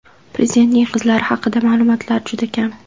Prezidentning qizlari haqidagi ma’lumotlar juda kam.